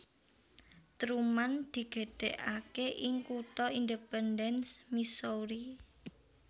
Truman digedhekake ing kutha Independence Missouri